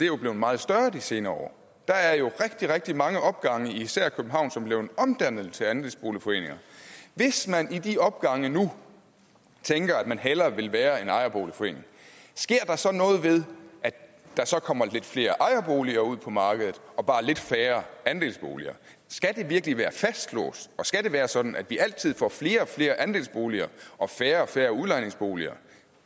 jo blevet meget større de senere år der er rigtig rigtig mange opgange i især københavn som er blevet omdannet til andelsboligforeninger hvis man i de opgange nu tænker at man hellere vil være en ejerforening sker der så noget ved at der så kommer lidt flere ejerboliger ud på markedet og bare lidt færre andelsboliger skal det virkelig være fastlåst og skal det være sådan at vi altid får flere og flere andelsboliger og færre og færre udlejningsboliger